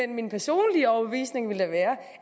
min personlige overbevisning ville være